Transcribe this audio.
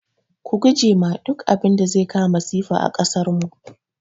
Ku guje ma duk abinda zai kawo masifa a kasarmu